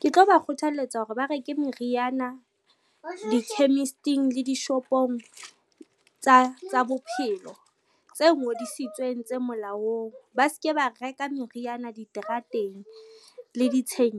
Ke tlo ba kgothaletsa hore ba reke meriana di-chemist-ing le dishopong tsa bophelo tse ngodisitsweng tse molaong, ba se ke ba reka meriana diterateng le ditsheng